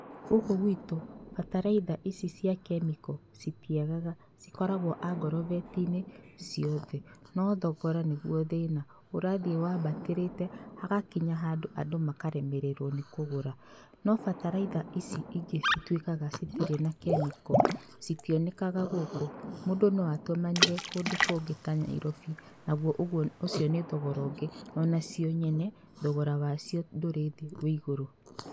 Gũkũ gwitũ bataraitha ici cia kemiko citiagaga, cikoragwo angorobeti-inĩ ciothe no thogora nĩguo thĩna. Ũrathiĩ wambatĩrĩte, hagakinya handũ andũ makaremererwo nĩ kũgũra no bataraitha ici ingĩ cituĩkaga citirĩ na kemiko citionekaga gũkũ. Mũndũ noatũmanire kũndũ kũngĩ ta Nyairobi, naguo ũcio nĩ thogora ũngĩ. Onacio nyene, thogora wacio ndũrĩ thĩ wĩ igũrũ.